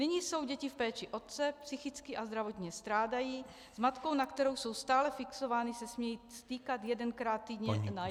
Nyní jsou děti v péči otce, psychicky a zdravotně strádají, s matkou, na kterou jsou stále fixovány, se smějí stýkat jedenkrát týdně na jednu hodinu.